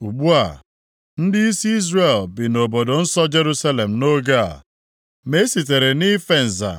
Ugbu a, ndịisi Izrel bi nʼobodo nsọ Jerusalem nʼoge a, ma e sitere nʼife nza